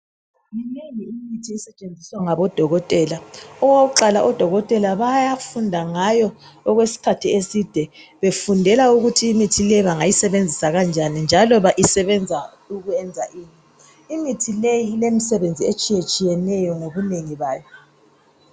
Minengi imithi esetshenziswa ngabodokotela. Okokuqala odokotela bayafunda ngayo okwesikhathi eside befundela ukuthi imithi le bangayisebenzisa kanjani njalo isebenza ukwenza ini. Imithi leyi ilemisebenzi etshiyetshiyeneyo ngobunengi bayo.